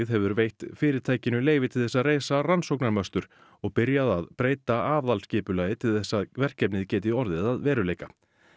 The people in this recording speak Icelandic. hefur veitt fyrirtækinu leyfi til þess að reisa og byrjað að breyta aðalskipulagi til þess að verkefnið geti orðið að veruleika